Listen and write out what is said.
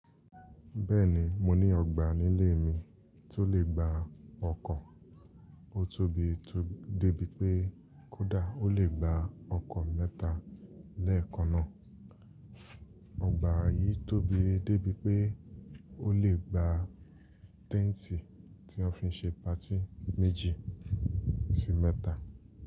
Bẹ́ẹ̀ni, mo ní ọgbà nílé mi tó lè gba ọkọ̀. Ó tóbi tó dé bí pé kódà ó lè gba ọkọ̀ mẹ́ta lẹ́ẹ̀kan náà. Ọgbà yìí tóbi dé bí pé ó lè gba tẹ́ǹtì tí a fi ń ṣe patí méjì sí mẹ́ta.